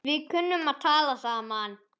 Við kunnum að tala saman.